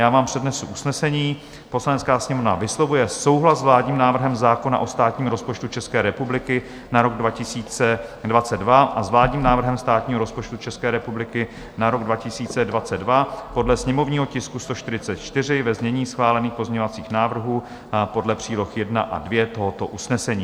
Já vám přednesu usnesení: "Poslanecká sněmovna vyslovuje souhlas s vládním návrhem zákona o státním rozpočtu České republiky na rok 2022, a s vládním návrhem státního rozpočtu České republiky na rok 2022 podle sněmovního tisku 144, ve znění schválených pozměňovacích návrhů podle příloh 1 a 2 tohoto usnesení."